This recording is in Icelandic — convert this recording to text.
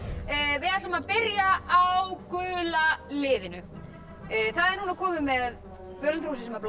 þið ætlum að byrja á gula liðinu það er komið með völundarhúsið sem bláa